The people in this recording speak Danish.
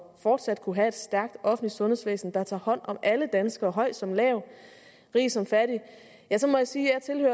fortsat at kunne have et stærkt offentligt sundhedsvæsen der tager hånd om alle danskere høj som lav rig som fattig må jeg sige at